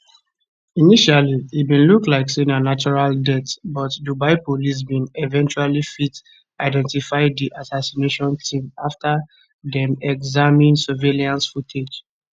initially e bin look like say na natural death but dubai police bin eventually fit identify di assassination team afta dem examine surveillance footage